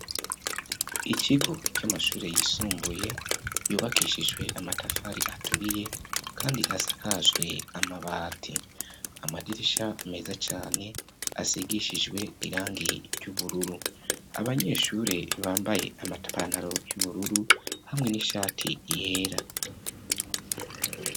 Ikigo c'amashure yisumbuye yubakishijwe amatafari aturiye kandi asakajwe amabati amadirisha meza cane asigishijwe irangi ry'ubururu abanyeshuri bambaye amampantaro y'ubururu hamwe n'ishati yera.